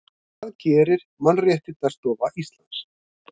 Hvað gerir Mannréttindaskrifstofa Íslands?